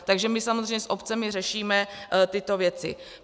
Takže my samozřejmě s obcemi řešíme tyto věci.